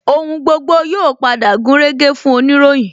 Ohun gbogbo yóò padà gúnrégé fún oniroyin